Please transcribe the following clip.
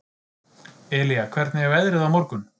Elía, hvernig er veðrið á morgun?